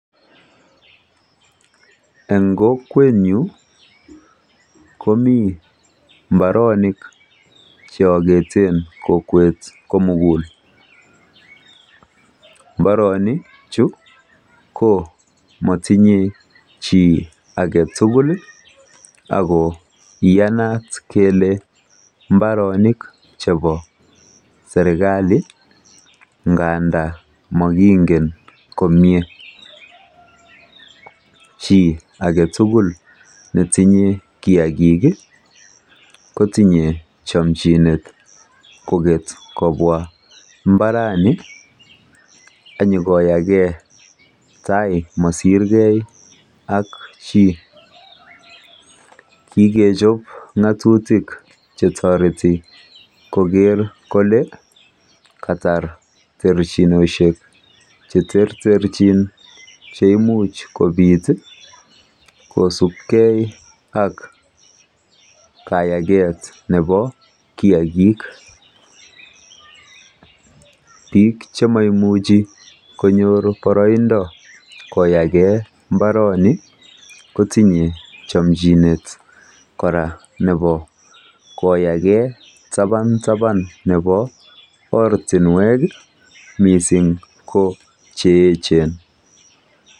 En kokwenyu komi mbaronik che akete kokwet komugul. Mbaronichu ko matinyei chi age tugul ako iyanat kele mbaronik chebo serkali ngandan mokingen komie. chi age tugul netinyei kiagik kotinyei chanchinet koket kobwa mbarani konyokoyage tai masirgei ak chii. Kikechop ng'atutik che toreti koker kole katar terchinoshek che terterchin che imuch kobit kosupkei ak kayaget nebo kiagik. Biik che maimuchi konyor boroindo koyage tabataba nebo mbarani kotinyei chanchinet kora koyage tabataba nebo ortinwek mising ko che echen.